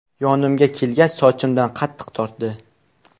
Yonimga kelgach, sochimdan qattiq tortdi.